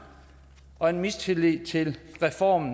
og en mistillid til reformen